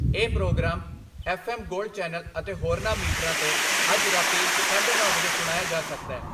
ਇਹ programme F M gold channel ਅਤੇ ਹੋਰਨਾਂ ਮੀਟਰਾਂ 'ਤੇ ਅੱਜ ਰਾਤੀਂ ਸਾਢੇ ਨੌ ਵਜੇ ਸੁਣਿਆ ਜਾ ਸਕਦੈ।